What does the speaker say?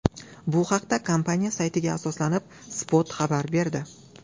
Bu haqda kompaniya saytiga asoslanib, Spot xabar berdi .